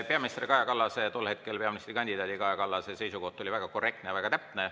Peaminister Kaja Kallase, tol hetkel peaministrikandidaat Kaja Kallase seisukoht oli väga korrektne ja täpne.